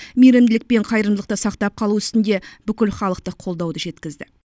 мейірімділік пен қайырымдылықты сақтап қалу үстінде бүкілхалықтық қолдауды жеткізді